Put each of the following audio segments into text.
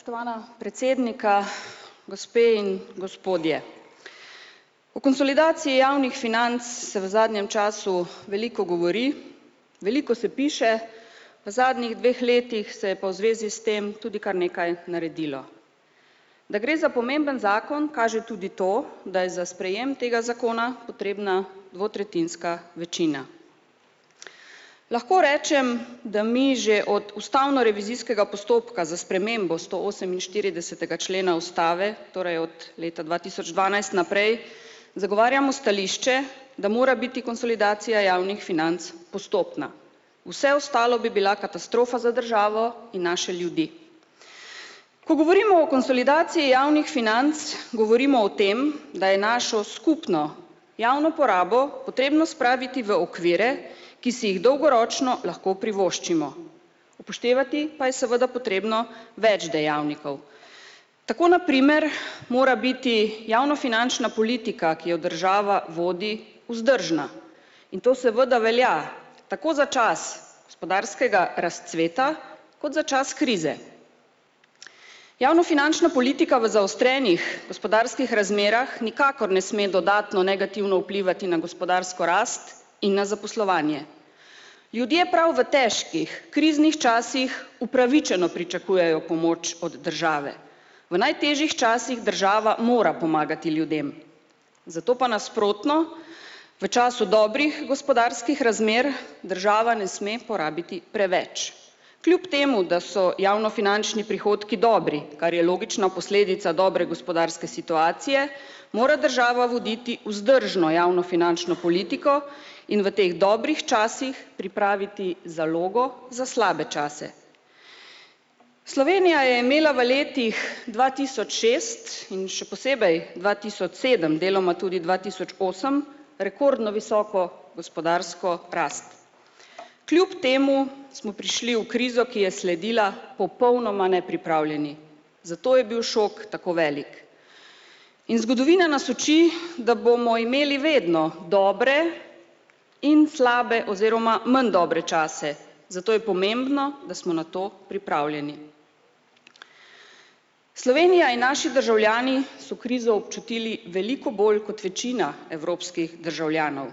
Spoštovana predsednika, gospe in gospodje. O konsolidaciji javnih financ se v zadnjem času veliko govori. Veliko se piše, v zadnjih dveh letih se je pa v zvezi s tem tudi kar nekaj naredilo. Da gre za pomemben zakon, kaže tudi to, da je za sprejem tega zakona potrebna dvotretjinska večina. Lahko rečem, da mi že od ustavnorevizijskega postopka za spremembo stooseminštiridesetega člena ustave, torej od leta dva tisoč dvanajst naprej, zagovarjamo stališče, da mora biti konsolidacija javnih financ postopna. Vse ostalo bi bila katastrofa za državo in naše ljudi. Ko govorimo o konsolidaciji javnih financ, govorimo o tem, da je našo skupno javno porabo potrebno spraviti v okvire, ki si jih dolgoročno lahko privoščimo. Upoštevati pa je seveda potrebno več dejavnikov. Tako na primer mora biti javnofinančna politika, ki jo država vodi, vzdržna. In to seveda velja tako za čas gospodarskega razcveta kot za čas krize. Javnofinančna politika v zaostrenih gospodarskih razmerah nikakor ne sme dodatno negativno vplivati na gospodarsko rast in na zaposlovanje. Ljudje prav v težkih kriznih časih upravičeno pričakujejo pomoč od države. V najtežjih časih država mora pomagati ljudem. Zato pa nasprotno v času dobrih gospodarskih razmer država ne sme porabiti preveč. Kljub temu da so javnofinančni prihodki dobri, kar je logična posledica dobre gospodarske situacije, mora država voditi vzdržno javnofinančno politiko in v teh dobrih časih pripraviti zalogo za slabe čase. Slovenija je imela v letih dva tisoč šest in še posebej dva tisoč sedem, deloma tudi dva tisoč osem, rekordno visoko gospodarsko rast. Kljup temu smo prišli v krizo, ki je sledila, popolnoma nepripravljeni. Zato je bil šok tako velik. In zgodovina nas uči, da bomo imeli vedno dobre in slabe oziroma manj dobre čase, zato je pomembno, da smo na to pripravljeni. Slovenija in naši državljani so krizo občutili veliko bolj kot večina evropskih državljanov.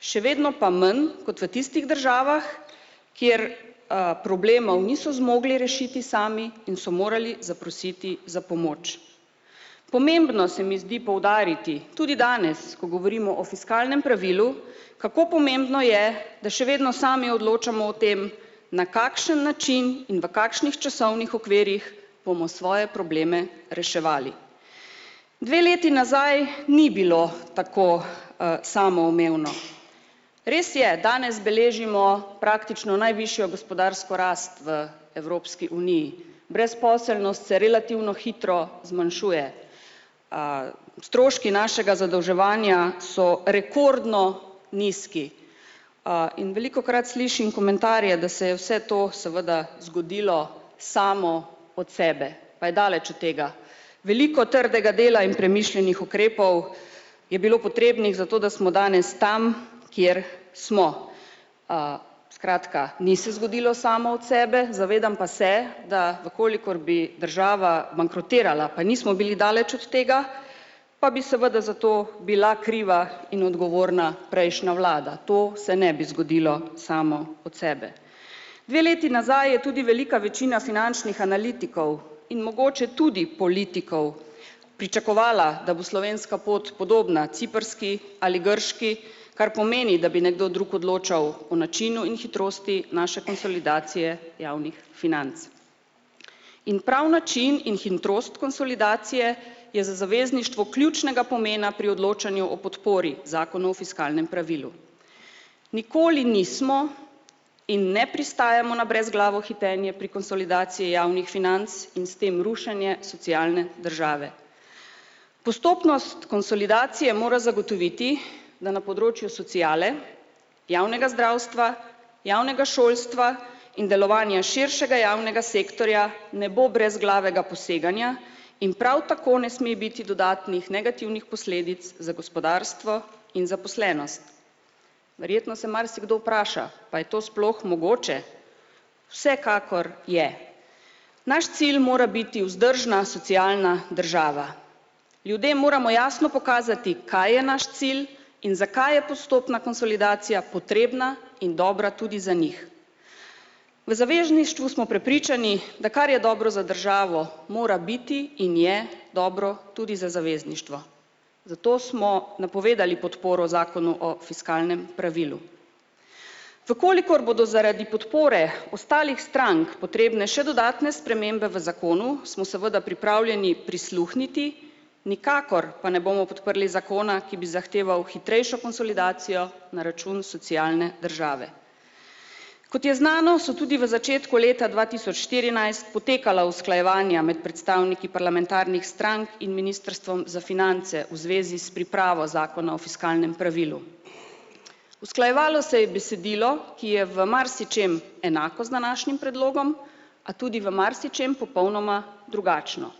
Še vedno pa manj kot v tistih državah, kjer, problemov niso zmogli rešiti sami in so morali zaprositi za pomoč. Pomembno se mi zdi poudariti tudi danes, ko govorimo o fiskalnem pravilu, kako pomembno je, da še vedno sami odločamo o tem, na kakšen način in v kakšnih časovnih okvirih bomo svoje probleme reševali. Dve leti nazaj ni bilo tako, samoumevno. Res je, danes beležimo praktično najvišjo gospodarsko rast v Evropski uniji. Brezposelnost se relativno hitro zmanjšuje. Stroški našega zadolževanja so rekordno nizki. In velikokrat slišim komentarje, da se je vse to seveda zgodilo samo od sebe, pa je daleč od tega. Veliko trdega dela in premišljenih ukrepov je bilo potrebnih za to, da smo danes tam, kjer smo. Skratka, ni se zgodilo samo od sebe, zavedam pa se, da v kolikor bi država bankrotirala, pa nismo bili daleč od tega. Pa bi seveda za to bila kriva in odgovorna prejšnja vlada. To se ne bi zgodilo samo od sebe. Dve leti nazaj je tudi velika večina finančnih analitikov in mogoče tudi politikov pričakovala, da bo slovenska pot podobna ciprski ali grški, kar pomeni, da bi nekdo drug odločal o načinu in hitrosti naše konsolidacije javnih financ. In prav način in hitrost konsolidacije je za zavezništvo ključnega pomena pri odločanju o podpori zakonu o fiskalnem pravilu. Nikoli nismo in ne pristajamo na brezglavo hitenje pri konsolidaciji javnih financ in s tem rušenje socialne države. Postopnost konsolidacije mora zagotoviti, da na področju sociale, javnega zdravstva, javnega šolstva in delovanja širšega javnega sektorja ne bo brezglavega poseganja in prav tako ne sme biti dodatnih negativnih posledic za gospodarstvo in zaposlenost. Verjetno se marsikdo vpraša: "Pa je to sploh mogoče?" Vsekakor je. Naš cilj mora biti vzdržna socialna država, ljudem moramo jasno pokazati, kaj je naš cilj in zakaj je postopna konsolidacija potrebna in dobra tudi za njih. V zavezništvu smo prepričani, da kar je dobro za državo, mora biti in je dobro tudi za zavezništvo. Zato smo napovedali podporo zakonu o fiskalnem pravilu. V kolikor bodo zaradi podpore ostalih strank potrebne še dodatne spremembe v zakonu, smo seveda pripravljeni prisluhniti, nikakor pa ne bomo podprli zakona, ki bi zahteval hitrejšo konsolidacijo na račun socialne države. Kot je znano, so tudi v začetku leta dva tisoč štirinajst potekala usklajevanja med predstavniki parlamentarnih strank in ministrstvom za finance v zvezi s pripravo zakona o fiskalnem pravilu. Usklajevalo se je besedilo, ki je v marsičem enako z današnjim predlogom, a tudi v marsičem popolnoma drugačno.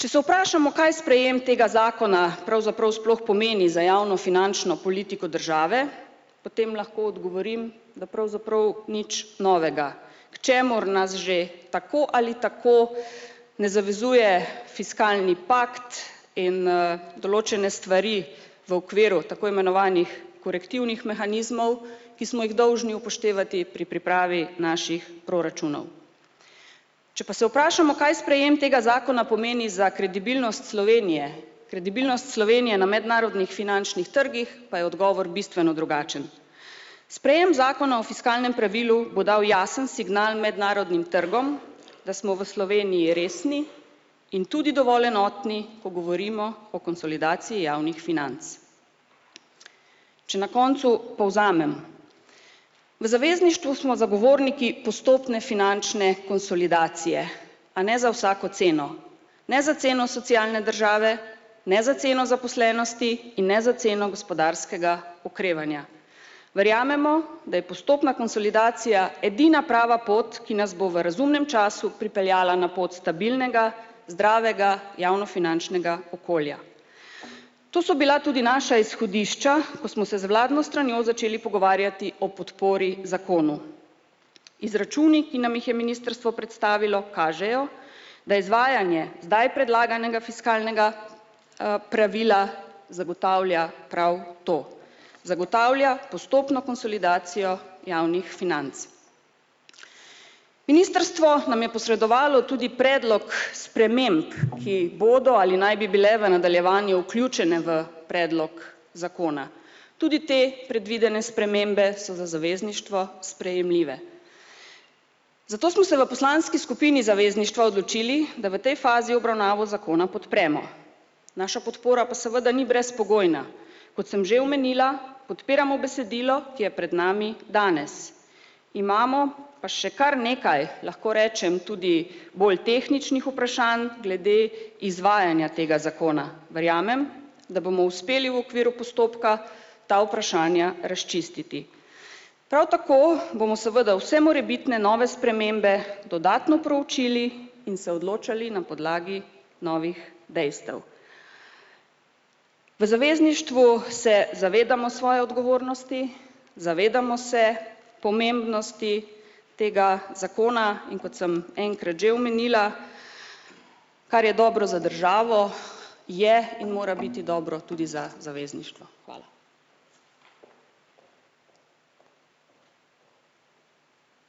Če se vprašamo, kaj sprejem tega zakona pravzaprav sploh pomeni za javnofinančno politiko države, potem lahko odgovorim, da pravzaprav nič novega. K čemur nas že tako ali tako ne zavezuje fiskalni pakt in, določene stvari v okviru tako imenovanih korektivnih mehanizmov, ki smo jih dolžni upoštevati pri pripravi naših proračunov. Če pa se vprašamo, kaj sprejem tega zakona pomeni za kredibilnost Slovenije, kredibilnost Slovenije na mednarodnih finančnih trgih, pa je odgovor bistveno drugačen. Sprejem zakona o fiskalnem pravilu bo dal jasen signal mednarodnim trgom, da smo v Sloveniji resni in tudi dovolj enotni, ko govorimo o konsolidaciji javnih financ. Če na koncu povzamem. V zavezništvu smo zagovorniki postopne finančne konsolidacije, a ne za vsako ceno. Ne za ceno socialne države, ne za ceno zaposlenosti in ne za ceno gospodarskega okrevanja. Verjamemo, da je postopna konsolidacija edina prava pot, ki nas bo v razumnem času pripeljala na pot stabilnega, zdravega javnofinančnega okolja. To so bila tudi naša izhodišča, ko smo se z vladno stranjo začeli pogovarjati o podpori zakonu. Izračuni, ki nam jih je ministrstvo predstavilo, kažejo da izvajanje zdaj predlaganega fiskalnega, pravila zagotavlja prav to. Zagotavlja postopno konsolidacijo javnih financ. Ministrstvo nam je posredovalo tudi predlog sprememb, ki bodo ali naj bi bile v nadaljevanju vključene v predlog zakona. Tudi te predvidene spremembe so za zavezništvo sprejemljive. Zato smo se v poslanski skupini zavezništva odločili, da v tej fazi obravnavo zakona podpremo. Naša podpora pa seveda ni brezpogojna, kot sem že omenila, podpiramo besedilo, ki je pred nami danes. Imamo pa še kar nekaj, lahko rečem, tudi bolj tehničnih vprašanj glede izvajanja tega zakona, verjamem, da bomo uspeli v okviru postopka ta vprašanja razčistiti. Prav tako bomo seveda vse morebitne nove spremembe dodatno proučili in se odločali na podlagi novih dejstev. V zavezništvu se zavedamo svoje odgovornosti, zavedamo se pomembnosti tega zakona, in kot sem enkrat že omenila, kar je dobro za državo, je in mora biti dobro tudi za zavezništvo. Hvala.